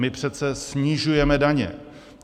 My přece snižujeme daně.